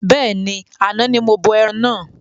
Bẹ́ẹ̀ni, àna ní mo bọ ẹran náà